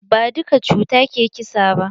Ba duka cuta ke ƙisa ba.